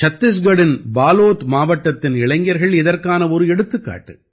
சத்திஸ்கட்டின் பாலோத் மாவட்டத்தின் இளைஞர்கள் இதற்கான ஒரு எடுத்துக்காட்டு